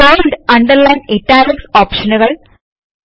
bold underline italics ഓപ്ഷനുകൾ